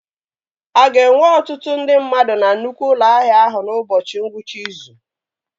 A ga-enwe ọtụtụ ndị mmadụ na nnukwu ụlọ ahịa ahụ n'ụbọchị ngwụcha izu?